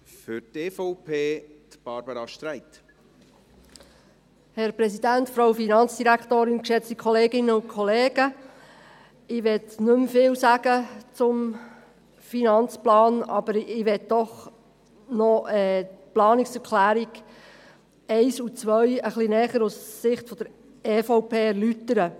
Ich möchte nicht mehr viel zum Finanzplan sagen, aber ich möchte die Planungserklärungen 1 und 2 doch noch aus Sicht der EVP etwas näher erläutern.